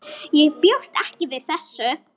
Ég bjóst ekki við þessu.